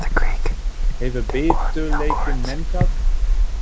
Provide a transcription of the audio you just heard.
Hefur biturleikinn minnkað?